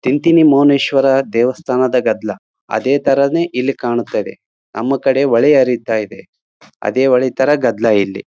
ತಿಂಥಿಣಿ ಮೌನೇಶ್ವರ ದೇವಸ್ಥಾನದ ಗದ್ದಲ ಅದೇ ತರಾನೇ ಇಲ್ಲಿ ಕಾಣ್ತಾ ಇದೆ ನಮ್ ಕಡೆ ಹೊಳೆ ಹರಿತ ಇದೆ ಅದೇ ಹೊಳೆ ತರ ಗದ್ದಲ ಇಲ್ಲಿ--